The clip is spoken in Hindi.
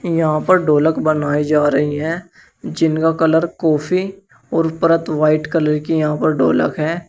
यहां पर ढोलक बनाई जा रही है जिनका कलर कॉफी और परत व्हाइट कलर के यहां पर ढोलक है।